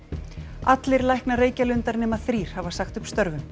allir læknar Reykjalundar nema þrír hafa sagt upp störfum